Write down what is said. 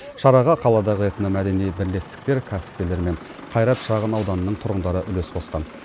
шараға қаладағы этно мәдени бірлестіктер кәсіпкерлер мен қайрат шағын ауданының тұрғындары үлес қосқан